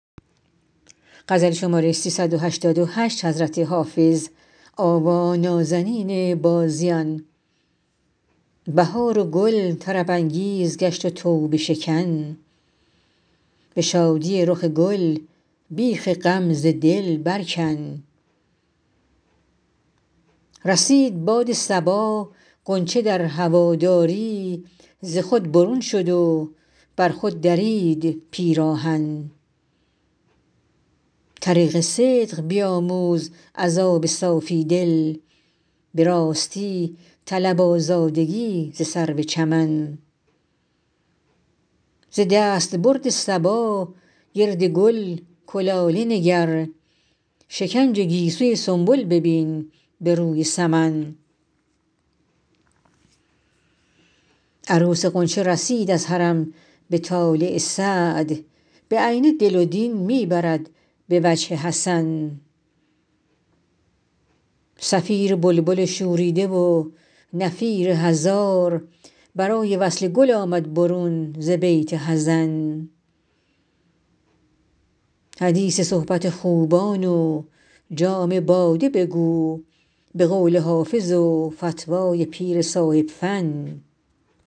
بهار و گل طرب انگیز گشت و توبه شکن به شادی رخ گل بیخ غم ز دل بر کن رسید باد صبا غنچه در هواداری ز خود برون شد و بر خود درید پیراهن طریق صدق بیاموز از آب صافی دل به راستی طلب آزادگی ز سرو چمن ز دستبرد صبا گرد گل کلاله نگر شکنج گیسوی سنبل ببین به روی سمن عروس غنچه رسید از حرم به طالع سعد بعینه دل و دین می برد به وجه حسن صفیر بلبل شوریده و نفیر هزار برای وصل گل آمد برون ز بیت حزن حدیث صحبت خوبان و جام باده بگو به قول حافظ و فتوی پیر صاحب فن